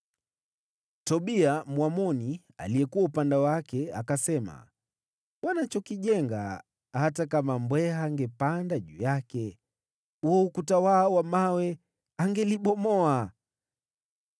Tobia Mwamoni aliyekuwa upande wake akasema, “Wanachokijenga, hata kama mbweha angepanda juu yake, huo ukuta wao wa mawe angeliubomoa!”